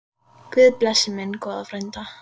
Guð blessi minn góða frænda.